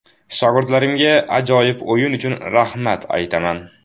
Shogirdlarimga ajoyib o‘yin uchun rahmat aytaman.